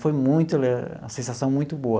Foi muito, uma sensação muito boa.